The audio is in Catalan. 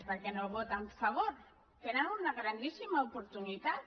per què no ho voten a favor tenen una grandíssima oportunitat